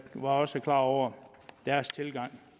var også klar over deres tilgang